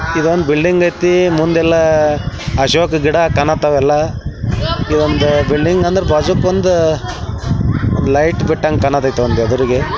ಇವಾ ಒಂದ್ ಬಿಲ್ಡಿಂಗ್ ಆಯ್ತಿ ಮುಂದೆಲ್ಲ ಅಶೋಕ ಗಿಡ ಕಂಥಾವ್ ಎಲ್ಲ ಇವ್ ಒಂದ್ ಬಿಲ್ಡಿಂಗ್ ಅಂದ್ರ ಬಾಜೂಕ್ ಒಂದ್ ಲೈಟ್ ಬಿಟ್ಟಂಗ್ ಕಾಣತೈತಿ ಒಂದ್ ಎದ್ರಿಗೆ.